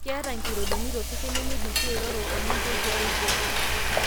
Ketaa nkorondoni tosesen nemeidim sii airoror oninche tiae oitoi.